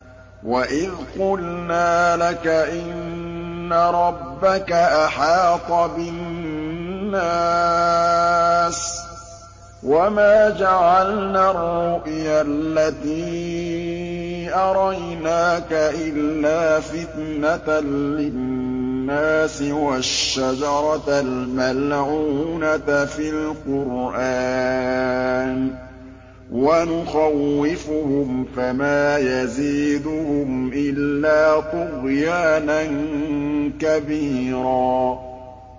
وَإِذْ قُلْنَا لَكَ إِنَّ رَبَّكَ أَحَاطَ بِالنَّاسِ ۚ وَمَا جَعَلْنَا الرُّؤْيَا الَّتِي أَرَيْنَاكَ إِلَّا فِتْنَةً لِّلنَّاسِ وَالشَّجَرَةَ الْمَلْعُونَةَ فِي الْقُرْآنِ ۚ وَنُخَوِّفُهُمْ فَمَا يَزِيدُهُمْ إِلَّا طُغْيَانًا كَبِيرًا